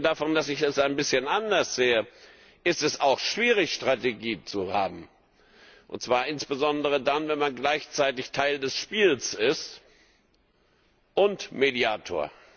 Abgesehen davon, dass ich es ein bisschen anders sehe, ist es auch schwierig, eine Strategie zu haben, und zwar insbesondere dann, wenn man gleichzeitig Teil des Spiels ist und Mediator.